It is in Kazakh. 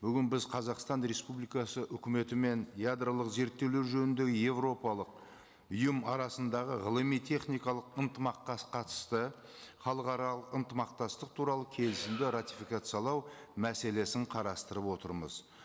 бүгін біз қазақстан республикасы үкіметімен ядролық зерттеулер жөніндегі еуропалық ұйым арасындағы ғылыми техникалық ынтымақтас қатысты халықаралық ынтымақтастық туралы келісімді ратификациялау мәселесін қарастырып отырмыз